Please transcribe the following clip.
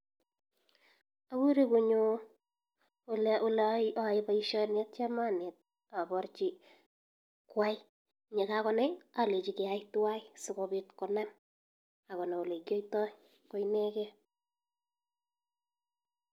Agure konyo oleayaen baishoni akabarchi Kwai ak yekakonai imuche keyai twan akobit konam akonai ole kiyoitoy koineken